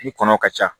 Ni kɔnɔ ka ca